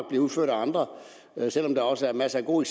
bliver udført af andre selv om der også er masser af gode